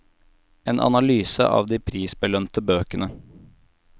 En analyse av de prisbelønte bøkene.